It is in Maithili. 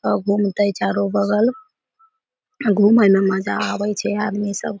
अ घूमते चारो बगल घूमे में मजा आवे छै आदमी सब --